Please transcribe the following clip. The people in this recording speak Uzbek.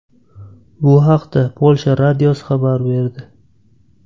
Bu haqda Polsha radiosi xabar berdi .